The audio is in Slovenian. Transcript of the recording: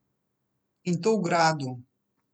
In to v gradu!